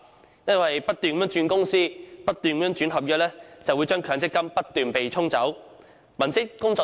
正因為他們不斷轉換公司和合約，他們的強積金亦會不斷被對沖。